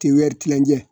Tiyɛri tilancɛ